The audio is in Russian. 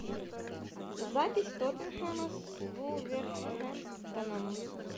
запись тоттенхэма с вулверхэмптоном